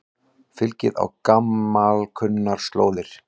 Fylgið á gamalkunnar slóðir